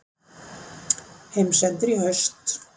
Heimsendir í haust